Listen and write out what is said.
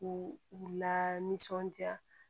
U u u la nisɔndiya